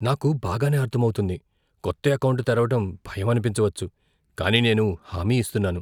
నాకు బాగానే అర్థమవుతుంది. కొత్త ఎకౌంటు తెరవడం భయం అనిపించవచ్చు, కానీ నేను హామీ ఇస్తున్నాను.